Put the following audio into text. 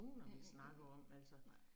Mhm mhm, mhm mhm nej